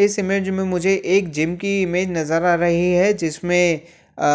इस इमेज में मुझे एक जिम की इमेज नजर आ रही है जिसमें अ